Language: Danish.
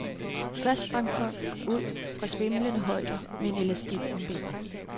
Først sprang folk ud fra svimlende højder med en elastik om benet.